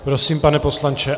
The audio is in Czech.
Prosím, pane poslanče.